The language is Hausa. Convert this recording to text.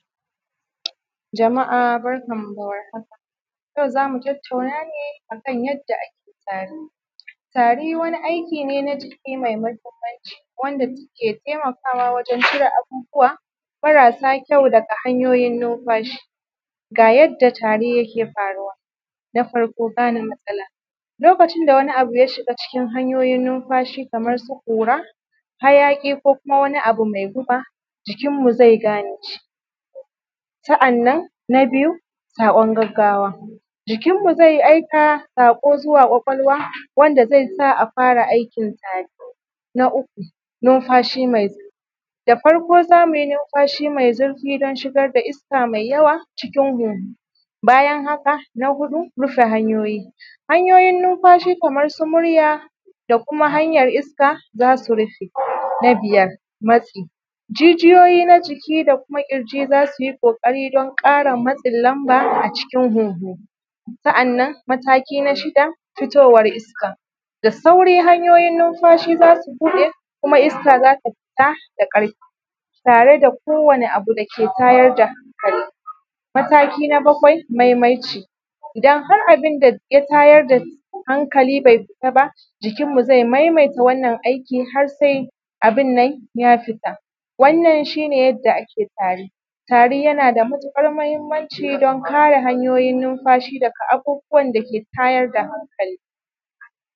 Jama’a barkanmu da warhaka, yau zamu tattauna ne akan yadda ake tari, tari wani aiki ne na jiki mai muhimmanhci wanda take taimakawa wajen cire abubuwa marasa kyau daga hanyoyin nunfashi, ga yadda tari yake faruwa, na farko gane matsala lokacin da wani abu ya shiga hanyoyin nunfashi kamar su kura, hayaki ko kuma wani abu mai guba jikinmu zai gane shi, sa’annan na biyu saƙon gaggawa jikin mu zai aika saƙo zuwa ƙwaƙwalwa wanda zai sa a fara tari, na uku nunfashi mai zurfi da farko zamu yi nunfashi mai zurfi don shigar da iska mai yawa cikin huhu bayan haka, na huɗu rufe hanyoyi, hanyoyin nunfashi kamar su murya da kuma hanyar iska zasu rufe, na biyar matsi, jijiyoyi na jiki da kuma kirji za su yi ƙokari dan kara matsin namba a cikin huhu, sa’annan mataki na shida fitowar iska, da sauri hanyoyin nunfashi zasu buɗe kuma iska zasu fita da karfi tare da kowane abu da ke tayar da tari, mataki na baƙwai maimaici, idan har abun da ya tayar da hankali bai fita ba jikin mu zai maimaita wannan aiki har sai abin nan ya fita, wannan shi ne yadda ake tari, tari yana da matuƙar muhimmanci don kare hanyoyin nunfashi da daga abubuwan da ke tayar da hankali.